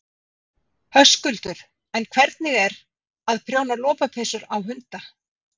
Höskuldur: En hvernig er að, að prjóna lopapeysur á hunda?